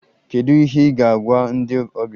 Kedu ihe ị ga-agwa ndị ọbịa?